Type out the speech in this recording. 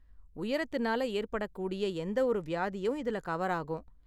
உயரத்தினால ஏற்படக்கூடிய எந்தவொரு வியாதியும் இதுல கவர் ஆகும்.